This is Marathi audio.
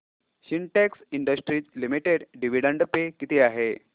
Sintex industries limited dividend pay किती आहे